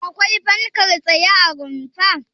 Akwai fankar tsaye a rumfar?